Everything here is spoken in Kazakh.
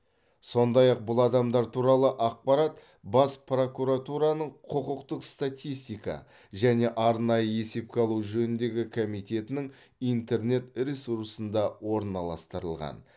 сондай ақ бұл адамдар туралы ақпарат бас прокуратураның құқықтық статистика және арнайы есепке алу жөніндегі комитетінің интернет ресурсында орналастырылған